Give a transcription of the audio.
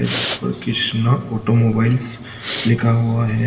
जिस पर कृष्णा ऑटोमोबाइल्स लिखा हुआ है।